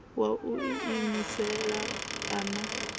wa u iimisela a na